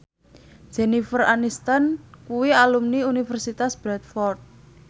Jennifer Aniston kuwi alumni Universitas Bradford